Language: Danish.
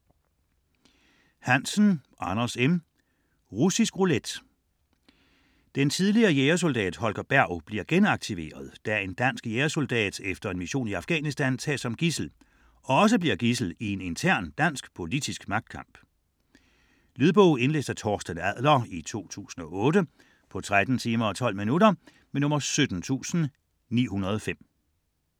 Hansen, Anders M.: Russisk roulette Den tidligere jægersoldat Holger Berg bliver genaktiveret, da en dansk jægersoldat efter en mission i Afghanistan tages som gidsel og også bliver gidsel i en intern dansk politisk magtkamp. Lydbog 17905 Indlæst af Torsten Adler, 2008. Spilletid: 13 timer, 12 minutter.